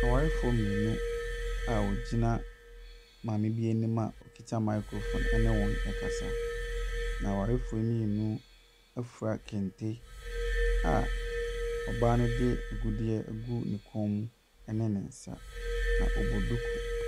Awarefoɔ mmienu a wɔgyina maame bi anim a ɔkuta microphone ne wɔn rekasa, na awarefoɔ yi mmienu afura kente a ɔbaa no de agudeɛ agu ne kɔn mu ne ne nsa, na ɔbɔ duku.